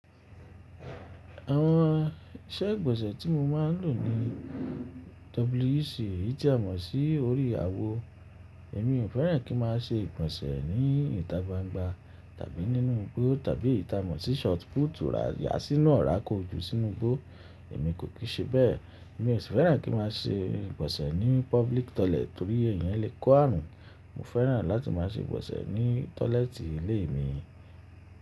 Àwọn iṣẹ́ ìgbọ̀nsẹ̀ tí mo máa ń lò ni WC. Eyi ti a mọ́ sí orí àwo. Èmi ò fẹ́ràn kí máa ṣe ìgbọ̀nsẹ̀ ní ìta gbangba tàbí nínú igbó tàbí eyi ta mọ̀ sí short put. Rora ya a sínú ọ̀rá kó ju sínú igbó, èmi kò kìí ṣe bẹ́ẹ̀. Èmi ò sì fẹ́ràn kí máa ṣe ìgbọ̀nsẹ̀ ní public toilet torí èèyàn lè kó àrun. Mo fẹ́ràn láti má ṣe ìgbọ̀nsẹ̀ ní tọ́lẹ́tì ilé mi.